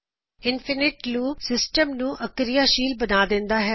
infinite loop system ਨੂੰ ਅਕਿਰਿਆਸ਼ੀਲ ਬਣਾਉਂਦਾ ਹੈ